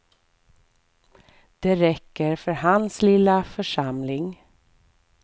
Det räcker för hans lilla församling.